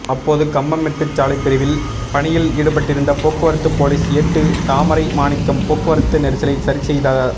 அப்போது கம்பம்மெட்டு சாலை பிரிவில் பணியில் ஈடுபட்டிருந்த போக்குவரத்து போலீஸ் ஏட்டு தாமரை மாணிக்கம் போக்குவரத்து நெரிசலை சரிசெய்ததார்